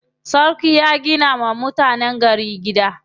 Sarkin ya gina wa mutanen gari gida.